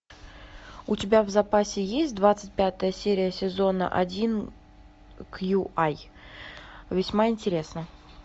у тебя в запасе есть двадцать пятая серия сезона один кьюай весьма интересно